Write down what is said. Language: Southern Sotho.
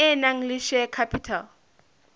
e nang le share capital